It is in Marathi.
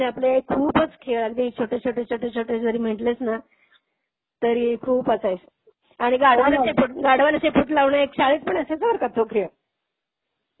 त्यामुळे पूर्वीचे आपले हे खूपच खेळ अगदी छोटे, छोटे, छोटे, छोटे जरी म्हंटलेस ना, तरी खूप असायचे. आणि गाढवाला शेपूट, गाढवाला शेपूट लावणे एक शाळेत पण असायचा बर का तो खेळ.